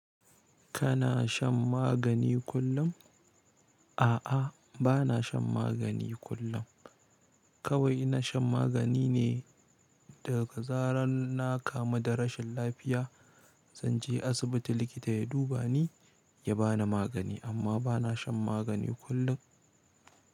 Kana shan magani kullum? A'a, bana shan magani kullum. Kawai ina shan magani ne daga zarar na kamu da rashin lafiya, zan je asibiti likita ya duba ni, ya bani magani amma bana shan magani kullum.